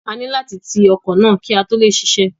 A ní láti ti ọkọ̀ náà kí ó tó lè ṣiṣẹ́.